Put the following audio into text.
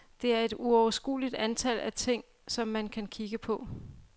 Der er et uoverskueligt antal af ting, som man kan kigge på.